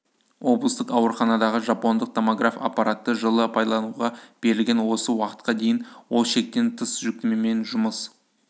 облыстық ауруханадағы жапондық томограф аппараты жылы пайдалануға берілген осы уақытқа дейін ол шектен тыс жүктемемен жұмыс